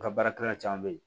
N ka baarakɛla caman bɛ yen